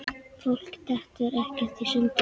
Fólk dettur ekkert í sundur.